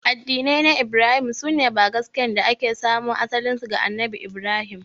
Addinai na Ibrahim su ne bangaskiyar da ke samo asalinsu ga Annabi Ibrahim.